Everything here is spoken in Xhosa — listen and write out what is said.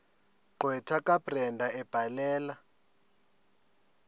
gqwetha kabrenda ebhalela